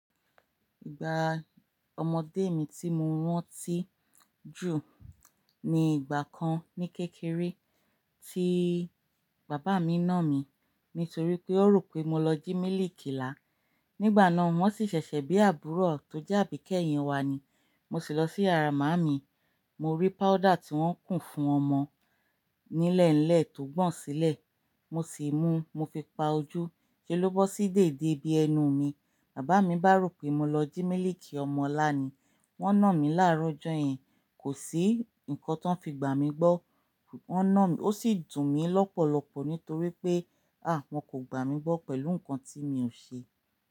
Ìgbà ọmọdé mi tí mo ránti jù ní ìgbà kan ní kékeré tí bàbá mi nà mí nítorí pé wọ́n rò pé mo lọ jí mílìkì lá. Nígbà náà, wọ́n sì ṣẹ̀ṣẹ̀ bí àbúrò tó jẹ́ àbíkẹ́yìn wa ni. Mo sì lọ sí yàrá màámi, mo rí powder tí wọ́n ń kùn fún ọmọ nílẹ̀nlẹ̀ tó gbọ̀n sílẹ̀. Mo sì mú, mo fi pa ojú, ṣe ló bọ́ sí dède bí ẹnu mi. Bàbá mi bá rò pé mo lọ jí mílìkì ọmọ ńlá ni. Wọ́n nà mí láàárọ̀ ọjọ́ yẹn, kò sí ǹkan t'wọ́n fi gbà mí gbọ́. Wọ́n nà mí, ó sì dùn mí lọ́pọ̀lọpọ̀ nítorí pé, à! Wọn kò gbà mí gbọ́ pẹ̀lú ǹkan tí mi ò ṣe.